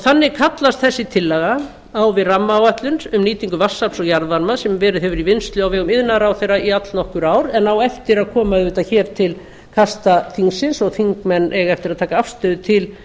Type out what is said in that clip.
þannig kallast þessi tillaga á við rammaáætlun um nýtingu vatnsafls og jarðvarma sem verið hefur í vinnslu á vegum iðnaðarráðherra í allnokkur ár en á eftir að koma til kasta þingsins og þingmenn eiga eftir að taka afstöðu til